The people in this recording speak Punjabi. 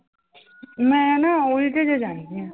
ਮੈਂ ਨਾ ਉਲਝ ਜੇ ਜਾਂਦੀ ਹਾਂ।